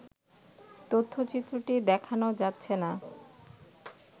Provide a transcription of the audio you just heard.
তথ্যচিত্রটি দেখানো যাচ্ছে না